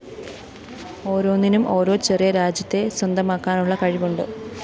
ഒരോന്നിനും ഓരോ ചെറിയ രാജ്യത്തെ സ്വന്തമാക്കാനുള്ള കഴിവുണ്ട്